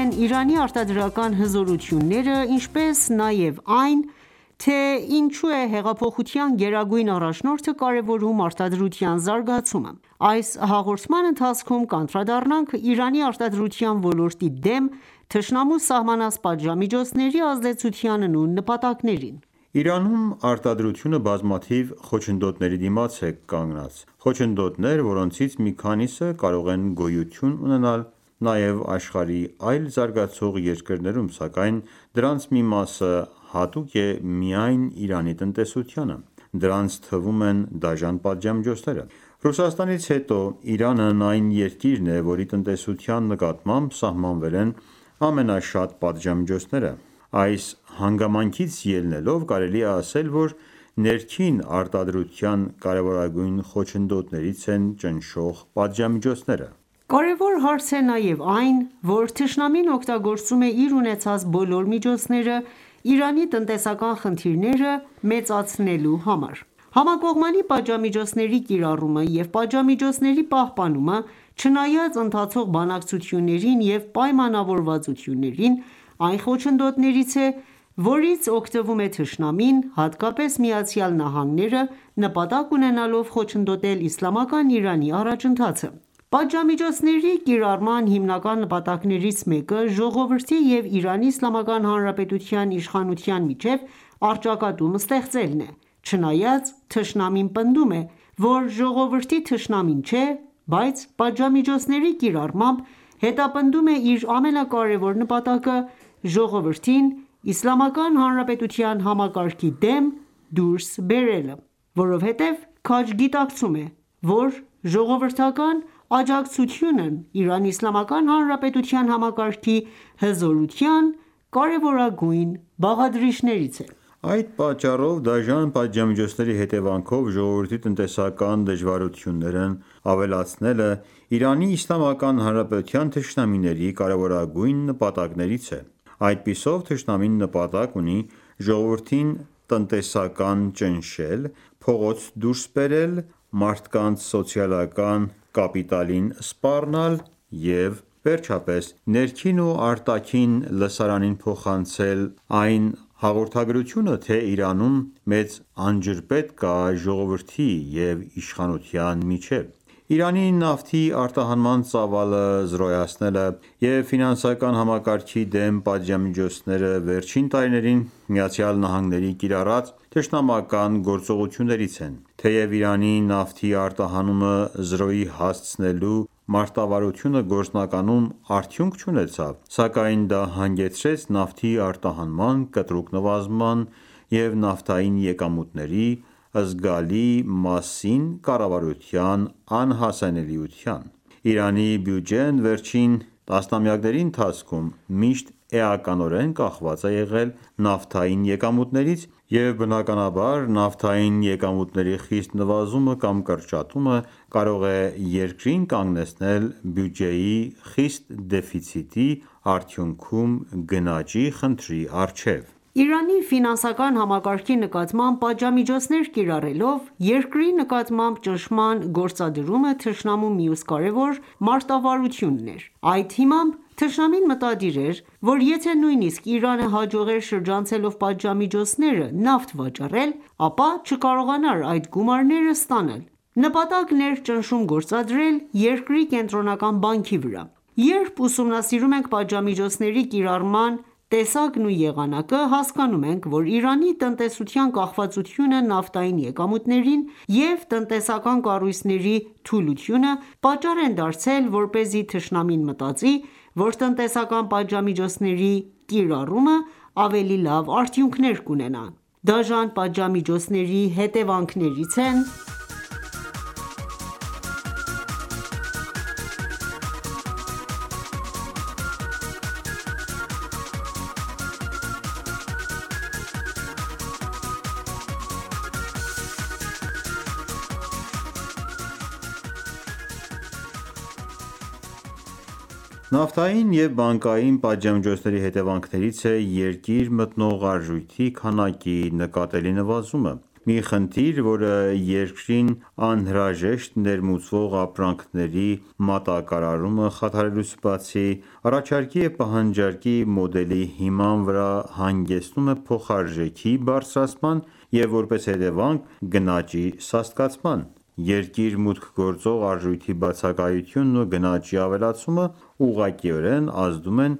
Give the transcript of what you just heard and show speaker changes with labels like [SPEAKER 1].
[SPEAKER 1] են Իրանի արտադրական հզորությունները, ինչպես նաև այն, թե ինչու է հեղափոխության գերագույն առաջնորդը կարևորում արտադրության զարգացումը։ Այս հաղորդման ընթացքում կանդրադառնանք Իրանի արտադրության ոլորտի դեմ թշնամու սահմանած պատժամիջոցների ազդեցությանն ու նպատակներին:
[SPEAKER 2] Իրանում արտադրությունը բազմաթիվ խոչընդոտների դիմաց է կանգնած: Խոչընդոտներ, որոնցից մի քանիսը կարող են գոյություն ունենալ նաև աշխարհի այլ զարգացող երկրներում, սակայն դրանց մի մասը հատուկ է միայն Իրանի տնտեսությանը, այդ թվում: Դրանց թվում են դաժան պատժամիջոցները: Ռուսաստանից հետո Իրանն այն երկիրն է, որի տնտեսության նկատմամբ սահմանվել են ամենաշատ պատժամիջոցները: Այս հանգամանքից ելնելով, կարելի է ասել, որ ներքին արտադրության կարևորագույն խոչընդոտներից են ճնշող պատժամիջոցները։
[SPEAKER 1] Կարևոր հարց է նաև այն, որ թշնամին օգտագործում է իր ունեցած բոլոր միջոցները ՝ Իրանի տնտեսական խնդիրները մեծացնելու համար: Համակողմանի պատժամիջոցների կիրառումը և պատժամիջոցների պահպանումը, չնայած ընթացող բանակցություններին և պայմանավորվածություններին, այն խոչընդոտներից է, որից օգտվում է թշնամին, հատկապես ԱՄՆ-ն՝ նպատակ ունենալով խոչընդոտել իսլամական Իրանի առաջընթացը։ Պատժամիջոցների կիրառման հիմնական նպատակներից մեկը ժողովրդի և Իրանի Իսլամական Հանրապետության իշխանության միջև առճակատում ստեղծելն է: Չնայած թշնամին պնդում է, որ ժողովրդի թշնամին չէ, բայց պատժամիջոցների կիրառմամբ հետապնդում է իր ամենակարևոր նպատակը՝ ժողովրդին իսլամական հանրապետության համակարգի դեմ դուրս բերելը, որովհետեւ քաջ գիտակցում է, որ ժողովրդական աջակցությունն Իրանի Իսլամական Հանրապետության համակարգի հզորության կարևորագույն բաղադրիչներից է։
[SPEAKER 2] Այդ պատճառով, դաժան պատժամիջոցների հետևանքով ժողովրդի տնտեսական դժվարություններն ավելացնելն Իրանի Իսլամական Հանրապետության թշնամիների կարևորագույն նպատակներից է: Այդպիսով թշնամին նպատակ ունի ժողովրդին տնտեսական ճնշել, փողոց դուրս բերելը, մարդկանց սոցիալական կապիտալին սպառնալ և վերջապես, ներքին ու արտաքին լսարանին փոխանցել այն հաղորդագրությունը, թե Իրանում մեծ անջրպետ կա ժողովրդի և իշխանության միջև։ Իրանի նավթի արտահանման ծավալը զրոյացնելը և ֆինանսական համակարգի դեմ պատժամիջոցները վերջին տարիներին ԱՄՆ-ի կիրառած թշմանական գործողություններից են: Թեև Իրանի նավթի արտահանումը զրոյի հասցնելու մարտավարությունը գործնականում արդյունք չունեցավ, սակայն դա հանգեցրեց նավթի արտահանման կտրուկ նվազման և նավթային եկամուտների զգալի մասին կառավարության անհասանելիության։ Իրանի բյուջեն վերջին տասնամյակների ընթացքում միշտ էականորեն կախված է եղել նավթային եկամուտներից, և բնականաբար, նավթային եկամուտների խիստ նվազումը կամ կրճատումը կարող էր երկրին կանգնեցնել բյուջեի խիստ դեֆիցիտի, արդյունքում՝ գնաճի խնդրի առջև։
[SPEAKER 1] Իրանի ֆինանսական համակարգի նկատմամբ պատժամիջոցներ կիրառելով երկրի նկատմամբ ճնշման գործադրումը թշնամու մյուս կարևոր մարտավարություն էր: Այդ հիմամբ թշնամին մտադիր էր, որ եթե նույնիսկ Իրանը հաջողեր շրջանցելով պատժամիջոցները նավթ վաճառել, ապա չկարողանար այդ գումարները ստանալ: Նպատակն էր ճնշում գործադրել երկրի Կենտրոնական բանկի վրաԼ Երբ ուսումնասիրում ենք պատժամիջոցների կիրառման տեսակն ու եղանակը, հասկանում ենք, որ Իրանի տնտեսության կախվածությունը նավթային եկամուտներին և տնտեսական կառույցների թուլությունը պատճառ են դարձել, որպեսզի թշնամին մտածի, որ տնտեսական պատժամիջոցների կիրառումը ավելի լավ արդյունքներ կունենա։ Դաժան պատժամիջոցների հետևանքներից են՝ Իրանի արտարժութային ռեսուրսների կրճատումը
[SPEAKER 2] Նավթային և բանկային պատժամիջոցների հետևանքներից է երկիր մտնող արժույթի քանակի նկատելի նվազումը: Մի խնդիր, որը երկրին անհրաժեշտ ներմուծվող ապրանքների մատակարարումը խաթարելուց բացի, առաջարկի և պահանջարկի մոդելի հիման վրա հանգեցնում է փոխարժեքի բարձրացման և, որպես հետևանք, գնաճի սաստկացման։ Երկիր մուտք գործող արժույթի բացակայությունն ու գնաճի ավելացումը ուղղակիորեն ազդում են